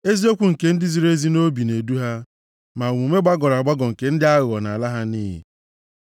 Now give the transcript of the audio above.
Eziokwu nke ndị ziri ezi nʼobi na-edu ha; ma omume gbagọrọ agbagọ nke ndị aghụghọ nʼala ha nʼiyi.